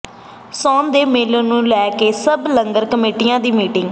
ਸਾਉਣ ਦੇ ਮੇਲੇ ਨੂੰ ਲੈ ਕੇ ਸਬ ਲੰਗਰ ਕਮੇਟੀਆਂ ਦੀ ਮੀਟਿੰਗ